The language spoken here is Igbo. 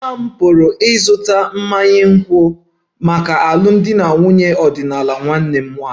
Papa m pụrụ ịzụta mmanya nkwụ maka alụmdi na nwunye ọdịnala nwanne m nwanyị